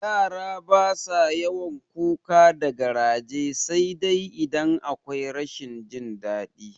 Yara basa yawan kuka da garaje sai idan akwai rashin jin daɗi